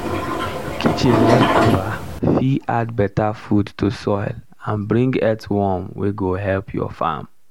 kitchen leftover fit add better food to soil and bring earthworm wey go help your farm.